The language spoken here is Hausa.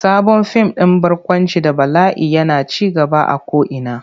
Sabon fim din barkwanci da bala'i yana ci gaba a ko'ina.